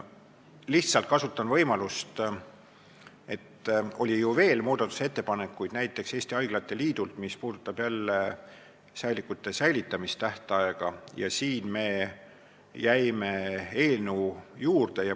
Lihtsalt kasutan võimalust öelda, et oli ju veel muudatusettepanekuid, näiteks ettepanek Eesti Haiglate Liidult, mis puudutas säilikute säilitamise tähtaega, ja siin me jäime eelnõu sõnastuse juurde.